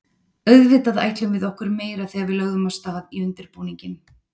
Auðvitað ætluðum við okkur meira þegar við lögðum af stað í undirbúninginn.